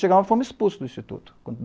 Chegamos e fomos expulsos do instituto.